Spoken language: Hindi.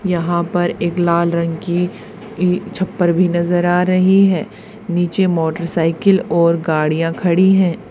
यहां पर एक लाल रंग की अं छप्पर भी नजर आ रही है नीचे मोटरसाइकिल और गाड़ियां खड़ी है।